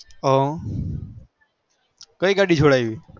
હ કઈ ગાડી સોરાવી